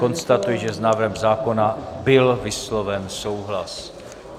Konstatuji, že s návrhem zákona byl vysloven souhlas.